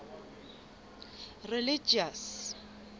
religious